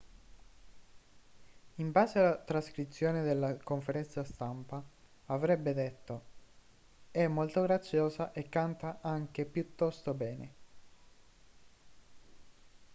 in base a trascrizione della conferenza stampa avrebbe detto è molto graziosa e canta anche piuttosto bene